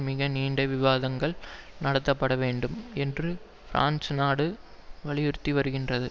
மிக நீண்ட விவாதங்கள் நடத்தப்பட வேண்டும் என்று பிரான்ஸ் நாடு வலியுறுத்தி வருகின்றது